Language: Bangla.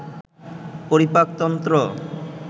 পরিপাক তন্ত্র